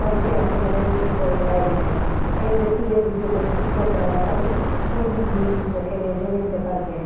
तभी के आसन बनाए हुए उसी पर बैठाए गए हैं एक व्यक्ति है उब ब जो बिन पूजा कर रहा है सामने फूल बिन रखे गए हैं जो अनेक प्रकार के हैं।